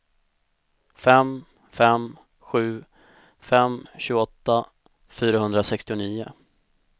fem fem sju fem tjugoåtta fyrahundrasextionio